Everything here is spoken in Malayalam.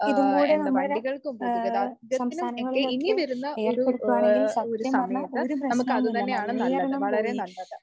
ആഹ് എന്താ വണ്ടികൾക്കും പൊതു ഗതാഗതത്തിനും ഒക്കെ ഇനി വരുന്ന ഒരു ആഹ് ഒരു സമയത്ത് നമുക്ക് അതുതന്നെയാണ് നല്ലത് വളരെ നല്ലത്.